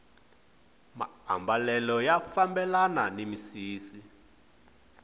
maambalelo ya fambelana ni misisi